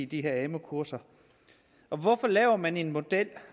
de her amu kurser og hvorfor laver man en model